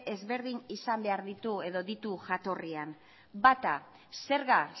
ezberdin ditu jatorrian bata zerga